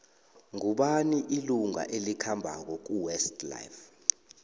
ngubani ilunga elikhambako kuwest life